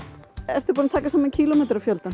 ertu búinn að taka saman